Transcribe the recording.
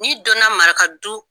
N'i don na maraka du